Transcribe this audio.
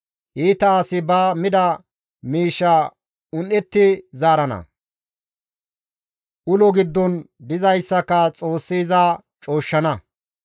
Iita asi ba mida miishsha un7etti zaarana; ulo giddon dizayssaka Xoossi iza cooshshana.